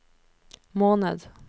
måned